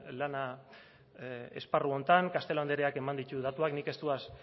lana esparru honetan castelo andreak eman ditu datuak nik ez doaz